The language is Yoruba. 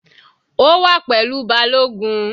Ó wà pẹ̀lú balogun.